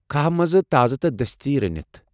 كھاہ منٛزٕ تازٕ تہٕ دستی رنِتھ ۔